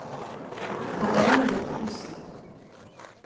Pernille Mortensen